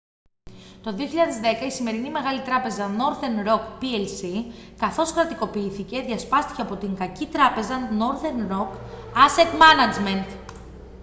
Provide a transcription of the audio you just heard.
το 2010 η σημερινή μεγάλη τράπεζα northern roc plc καθώς κρατικοποιήθηκε διασπάστηκε από την «κακή τράπεζα» northern roc asset management